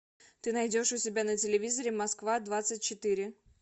ты найдешь у себя на телевизоре москва двадцать четыре